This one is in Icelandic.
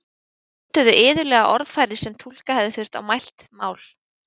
Þeir notuðu iðulega orðfæri sem túlka hefði þurft á mælt mál.